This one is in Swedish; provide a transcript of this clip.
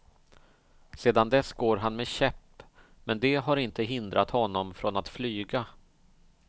Sedan dess går han med käpp, men det har inte hindrat honom från att flyga.